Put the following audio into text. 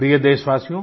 प्रिय देशवासियो